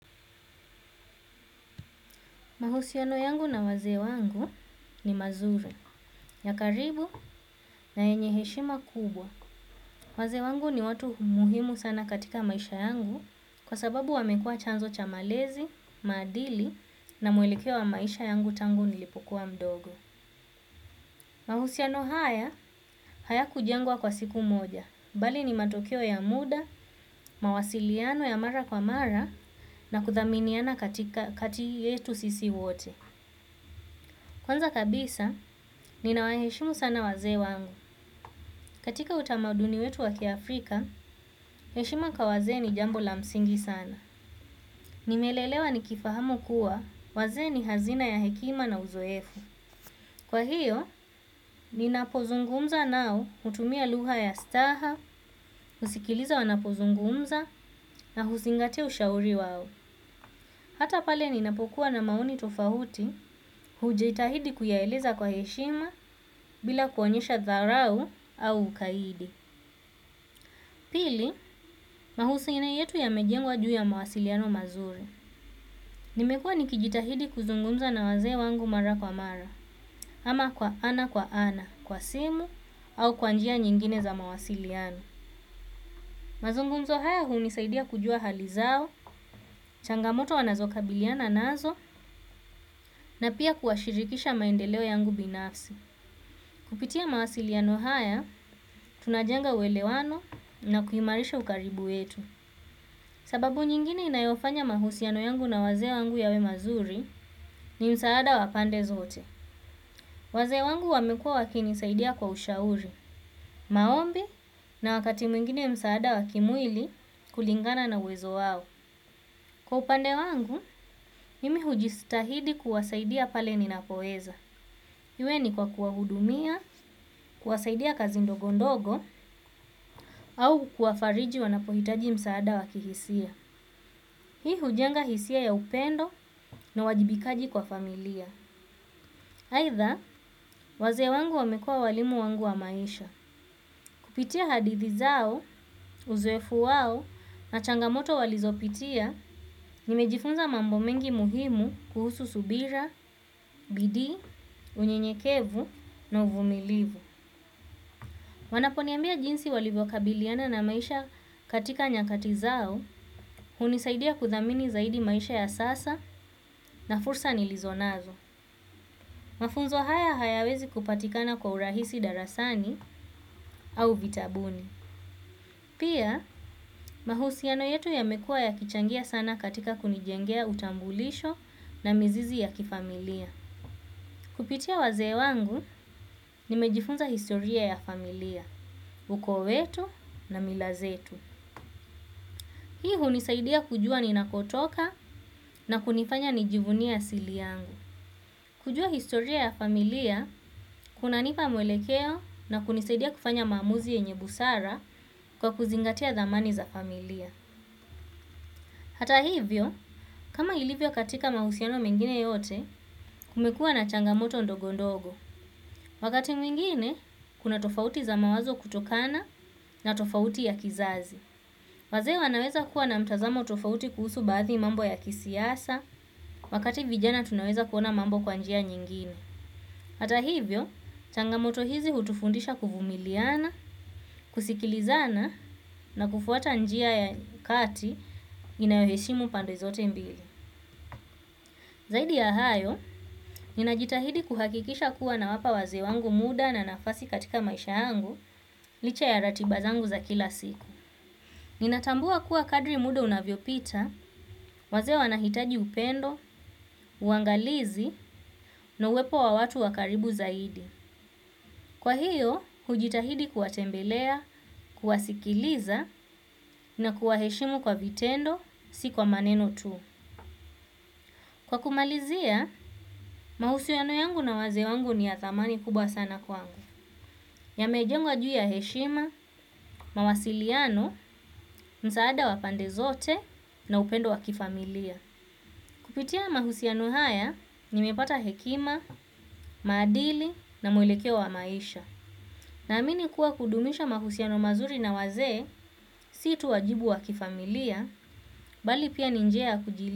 Mahusiano yangu na wazee wangu ni mazuri, ya karibu na yenye heshima kubwa. Wazee wangu ni watu muhimu sana katika maisha yangu kwasababu wamekua chanzo cha malezi, madili na mwelekeo wa maisha yangu tangu nilipokuwa mdogo. Mahusiano haya, hayakujangwa kwa siku moja, bali ni matokeo ya muda, mawasiliano ya mara kwa mara na kuthaminiana katika kati yetu sisi wote. Kwanza kabisa, ninawaheshimu sana waze wangu. Katika utamaduni wetu wakiafrika, heshima ka waze ni jambo la msingi sana. Nimelelewa nikifahamu kuwa waze ni hazina ya hekima na uzoefu. Kwa hiyo, ninapozungumza nao utumia luha ya staha, usikiliza wanapozungumza na huzingatia ushauri wao. Hata pale ninapokuwa na maoni tofauti hujitahidi kuyaeleza kwa heshima bila kuonyesha dharau au ukaidi. Pili, mahusiano yetu yamejengwa juu ya mawasiliano mazuri. Nimekua nikijitahidi kuzungumza na waze wangu mara kwa mara, ama kwa ana kwa ana, kwa simu, au kwanjia nyingine za mawasiliano. Mazungumzo haya huunisaidia kujua halizao, changamoto wanazokabiliana nazo, na pia kuashirikisha maendeleo yangu binafsi. Kupitia mawasiliano haya, tunajenga welewano na kuhimarisha ukaribu wetu. Sababu nyingine inayofanya mahusiano yangu na waze wangu yawe mazuri ni msaada wa pande zote. Waze wangu wamekua wakinisaidia kwa ushauri, maombi na wakati mwingine msaada wakimwili kulingana na uwezo wao. Kwa upande wangu, imi hujistahidi kuwasaidia pale ninapoeza. Iwe ni kwa kuwahudumia, kuwasaidia kazi ndogondogo au kuafariji wanapohitaji msaada wakihisia. Hii hujenga hisia ya upendo na wajibikaji kwa familia. Aidha, waze wangu wamekua walimu wangu wa maisha. Kupitia hadithi zao, uzowefu wao na changamoto walizopitia, nimejifunza mambo mengi muhimu kuhusu subira, bidi, unyenyekevu na uvumilivu. Wanaponiambia jinsi walivokabiliana na maisha katika nyakati zao, unisaidia kuthamini zaidi maisha ya sasa na fursa nilizonazo. Mafunzo haya hayawezi kupatikana kwa urahisi darasani au vitabuni. Pia, mahusiano yetu yamekua yakichangia sana katika kunijengea utambulisho na mizizi ya kifamilia. Kupitia waze wangu, nimejifunza historia ya familia, uko wetu na mila zetu. Hii hunisaidia kujua ninakotoka na kunifanya nijivunie asili yangu. Kujua historia ya familia, kunanipa mwelekeo na kunisaidia kufanya mamuzi yenye busara kwa kuzingatia dhamani za familia. Hata hivyo, kama ilivyo katika mahusiano mengine yote, kumekua na changamoto ndogondogo. Wakati mwingine, kuna tofauti za mawazo kutokana na tofauti ya kizazi. Waze wanaweza kuwa na mtazamo tofauti kuhusu baadhi mambo ya kisiasa, wakati vijana tunaweza kuona mambo kwa, njia nyingine. Hata hivyo, changamoto hizi hutufundisha kufumiliana, kusikilizana na kufuata njia ya kati inayoheshimu pande zote mbili. Zaidi ya hayo, ninajitahidi kuhakikisha kuwa nawapa waze wangu muda na nafasi katika maisha yangu, licha ya ratiba zangu za kila siku. Ninatambua kuwa kadri muda unavyo pita, waze wanahitaji upendo, uangalizi, na uwepo wa watu wakaribu zaidi. Kwa hiyo, hujitahidi kuwa tembelea, kuwasikiliza, na kuwaheshimu kwa vitendo, si kwa maneno tu. Kwa kumalizia, mahusiano yangu na waze wangu ni ya thamani kubwa sana kwangu. Yamejengwa juya heshima, mawasiliano, msaada wa pande zote, na upendo wakifamilia. Kupitia mahusiano haya, nimepata hekima, madili na mwelekeo wa maisha. Naamini kuwa kudumisha mahusiano mazuri na waze, si tu wajibu wa kifamilia, bali pia ni njia kujili.